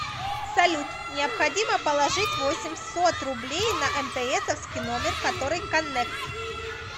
салют необходимо положить восемьсот рублей на мтсовский номер который коннект